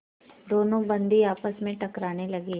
दोनों बंदी आपस में टकराने लगे